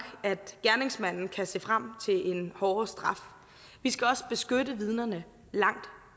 at gerningsmanden kan se frem til en hårdere straf vi skal også beskytte vidnerne langt